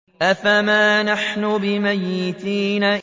أَفَمَا نَحْنُ بِمَيِّتِينَ